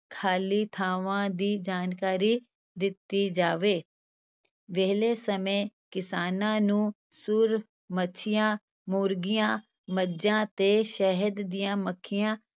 ਖ਼ਾਲੀ ਥਾਵਾਂ ਦੀ ਜਾਣਕਾਰੀ ਦਿੱਤੀ ਜਾਵੇ, ਵਿਹਲੇ ਸਮੇਂ ਕਿਸਾਨਾਂ ਨੂੰ ਸੂਰ, ਮੱਛੀਆਂ, ਮੁਰਗੀਆਂ, ਮੱਝਾਂ ਤੇ ਸ਼ਹਿਦ ਦੀਆਂ ਮੱਖੀਆਂ